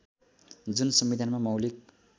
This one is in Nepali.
जुन संविधानमा मौलिक